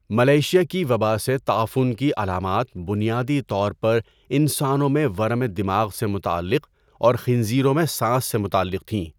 Malaysia کی وبا سے تعفن کی علامات بنیادی طور پر انسانوں میں ورم دماغ سے متعلق اور خنزیروں میں سانس سے متعلق تھیں۔